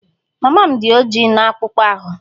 Mama m dị ojii na akpụkpọ ahụ